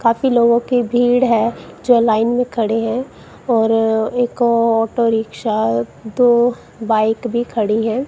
काफी लोगों के भीड़ है जो लाइन में खड़े हैं और एक ऑटो रिक्शा दो बाइक भी खड़ी है।